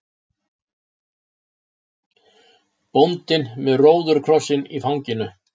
Bóndinn með róðukrossinn í fanginu.